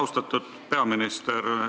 Austatud peaminister!